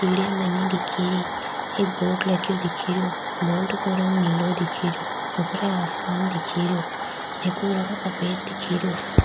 सीढियाँ बनी दिखेरी एक बोर्ड लगयो दिखेरयो बोर्ड काे रंग नीलो दिखेरयो ऊपरे आसमान दिखेरयो जेको रंग सफ़ेद दिखेरयो।